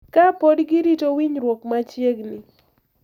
Ka pod girito winjruok machiegni.